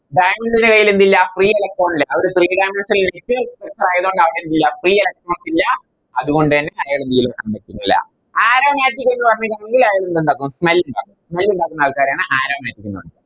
Diamond ൻറെ കൈയിലെന്തില്ല Free electron ഇല്ല അവര് Three dimensional structure ആയത്കൊണ്ട് അവരെന്തില്ല Free electrons ഇല്ല അതുകൊണ്ടെന്നെ അയാള് പറ്റുന്നില്ല Aromatic എന്ന് Smell ഇല്ല Smell ഇണ്ടാക്കുന്ന ആൾക്കാരെയാണ് Aromatic എന്ന് പറയുന്നത്